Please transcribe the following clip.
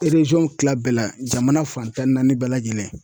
kila bɛɛ la jamana fan tan ni naani bɛɛ lajɛlen.